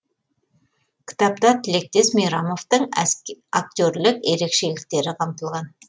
кітапта тілектес мейрамовтың актерлік ерекшеліктері қамтылған